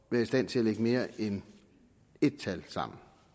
være i stand til at lægge mere end ét tal sammen